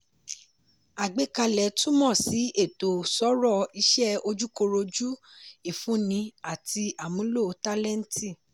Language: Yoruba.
àgbékalẹ̀ túmọ̀ si ẹ̀tọ́ sọ̀rọ̀ iṣẹ́ ojúkọrojú ifunni àti àmúlò tálẹ́ǹtì.